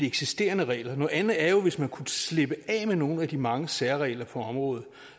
eksisterende regler noget andet er hvis man kunne slippe af med nogle af de mange særregler på området